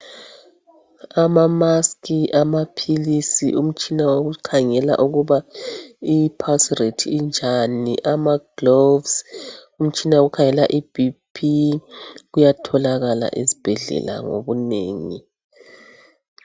ama mask amaphilisi umtshina wokukhangela ukuba i pulse rate injani, ama gloves umtshina wokukhangela iBP kuyatholakala esibhedlela ngokunengi